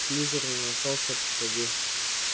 слизерин остался позади